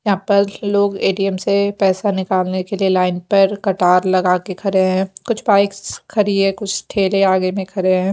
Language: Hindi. के लोग ए_टी_एम से पैसा निकालने के लिए लाइन पर कतार लगाके खड़े हैं कुछ बाइक्स खड़ी है कुछ ठेले आगे में खड़े हैं।